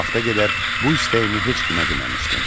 Bu vaxta qədər bu istəyimi heç kimə deməmişdim.